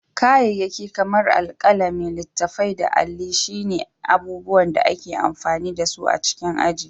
Kayayyaki kamar alkalami, littattafai, da alli shi ce abubuwan da ake amfani da su a cikin aji.